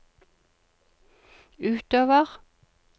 utover